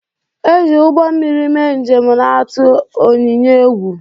E ji ugbọ mmiri mee njem na-atụ Onyinye egwu